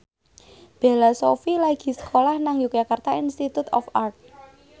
Bella Shofie lagi sekolah nang Yogyakarta Institute of Art